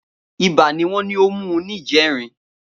Ibà ni wọ́n ní ó mú un níjẹrin